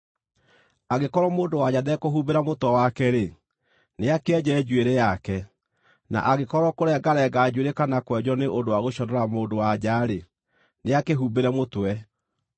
Angĩkorwo mũndũ-wa-nja ndekũhumbĩra mũtwe wake-rĩ, nĩakĩenje njuĩrĩ yake; na angĩkorwo kũrengarenga njuĩrĩ kana kwenjwo nĩ ũndũ wa gũconora mũndũ-wa-nja-rĩ, nĩakĩĩhumbĩre mũtwe.